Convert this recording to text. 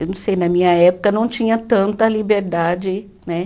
Eu não sei, na minha época não tinha tanta liberdade, né?